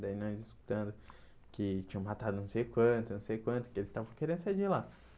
Daí nós escutando que tinham matado não sei quanto, não sei quanto, que eles estavam querendo sair de lá.